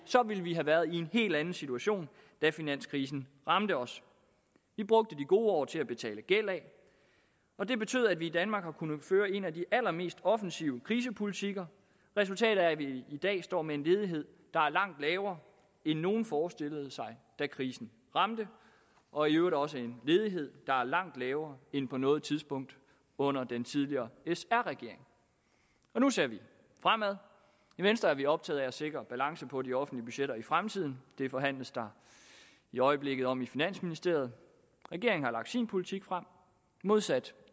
ville vi have været i en helt anden situation da finanskrisen ramte os vi brugte de gode år til at betale gæld af og det betød at vi i danmark har kunnet føre en af de allermest offensive krisepolitikker resultatet er at vi i dag står med en ledighed der er langt lavere end nogen forestillede sig da krisen ramte og i øvrigt også en ledighed der er langt lavere end på noget tidspunkt under den tidligere sr regering nu ser vi fremad i venstre er vi optaget af at sikre balancen på de offentlige budgetter i fremtiden det forhandles der i øjeblikket om i finansministeriet regeringen har lagt sin politik frem modsat